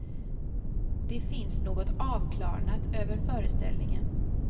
Det finns något avklarnat över föreställningen.